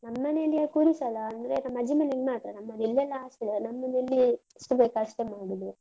ನಮ್ಮನೇಲಿ ಅ ಕೂರಿಸಲ್ಲ, ಅಂದ್ರೆ ನಮ್ ಅಜ್ಜಿ ಮನೇಲಿ ಮಾತ್ರ. ನಮ್ಮದು ಇಲ್ಲೆಲ್ಲ ಅಷ್ಟಿಲ್ಲ ನಮ್ಮನೇಲಿ ಎಷ್ಟು ಬೇಕಾ ಅಷ್ಟೆ ಮಾಡುದು.